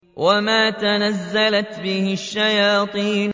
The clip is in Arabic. وَمَا تَنَزَّلَتْ بِهِ الشَّيَاطِينُ